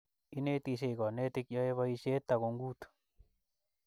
Inetisie konetik, yoei boisiet takungut